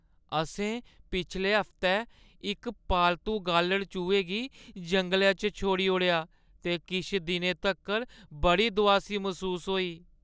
असें पिछले हफ्तै इक पालतू गालढ़-चूहे गी जंगलै च छोड़ी ओड़ेआ ते किश दिनें तक्कर बड़ी दोआसी मसूस होई।